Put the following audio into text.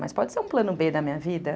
Mas pode ser um plano bê da minha vida?